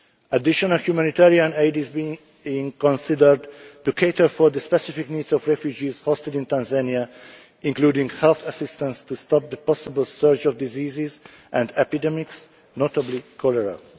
Additional humanitarian aid is being considered to cater for the specific needs of refugees hosted in Tanzania, including health assistance to stop the possible surge of diseases and epidemics, notably cholera.